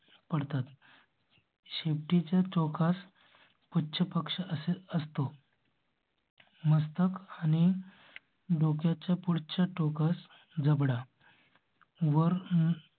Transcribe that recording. पडतात शेपटी च्या टोकास पुच्छपक्ष असतो मस्तक आणि. बोधा चं पुढचं टोकस जबडा वर